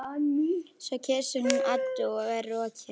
Svo kyssir hún Eddu og er rokin.